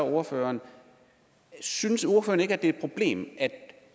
ordføreren synes ordføreren ikke det er et problem at